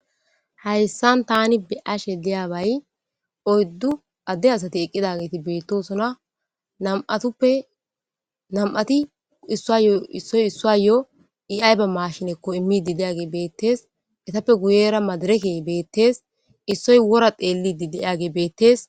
Hayissani tani beyashe diyabayi oyidu assati dossona namiphati issoyi issayo i ayiba mashineko imidi heppe guyera madirekeyi betesi issoyi wora xelesi